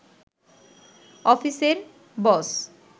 অফিসের বস